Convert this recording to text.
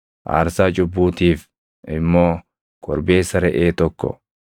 aarsaa cubbuutiif immoo korbeessa reʼee tokko,